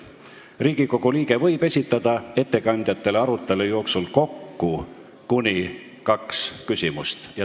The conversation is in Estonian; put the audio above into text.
Riigikogu liige võib esitada ettekandjatele arutelu jooksul kokku kuni kaks küsimust.